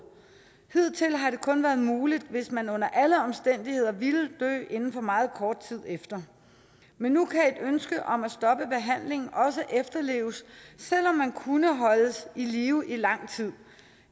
hidtil har det kun være muligt hvis man under alle omstændigheder ville dø inden for meget kort tid efter men nu kan et ønske om at stoppe behandling også efterleves selv om man kunne holdes i live i lang tid